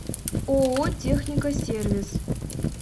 ооо техника сервис